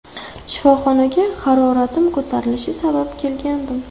Shifoxonaga haroratim ko‘tarilishi sabab kelgandim.